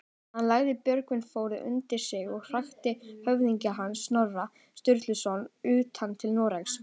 Hann lagði Borgarfjörð undir sig og hrakti höfðingja hans, Snorra Sturluson, utan til Noregs.